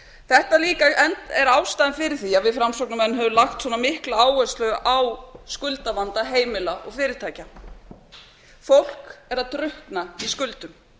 þetta er líka ástæðan fyrir því að við framsóknarmenn höfum lagt svona mikla áherslu á skuldavanda heimila og fyrirtækja fékk er að drukkna í skuldum